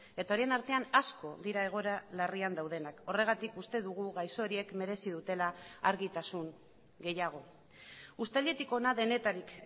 eta horien artean asko dira egoera larrian daudenak horregatik uste dugu gaixo horiek merezi dutela argitasun gehiago uztailetik hona denetarik